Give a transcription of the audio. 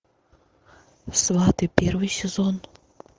сваты первый сезон